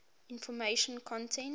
information content